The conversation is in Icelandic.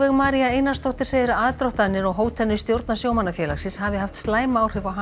María Einarsdóttir segir að aðdróttanir og hótanir stjórnar sjómannafélagsins hafi haft slæm áhrif á hana